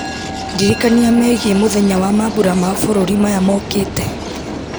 ndirikania megiĩ mũthenya wa mambura ma bũrũri maya mokĩte